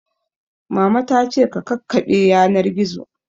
Mama ta ce ka kakkaɓe yanar gizo